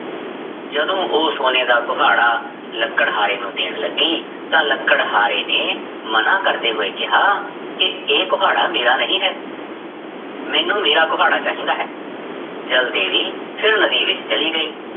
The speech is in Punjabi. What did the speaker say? ਜਦੋਂ ਉਹ ਸੋਨੇ ਦਾ ਕੁਹਾੜਾ ਲੱਕੜਹਾਰੇ ਨੂੰ ਦੇਣ ਲੱਗੀ ਤਾਂ ਲੱਕੜਹਾਰੇ ਨੇ ਮਨਾ ਕਰਦੇ ਹੋਏ ਕਿਹਾ ਕਿ ਇਹ ਕੁਹਾੜਾ ਮੇਰਾ ਨਹੀਂ ਹੈ ਮੈਨੂੰ ਮੇਰਾ ਕੁਹਾੜਾ ਚਾਹੀਦਾ ਹੈ, ਜਲ ਦੇਵੀ ਫਿਰ ਨਦੀ ਵਿੱਚ ਚਲੀ ਗਈ।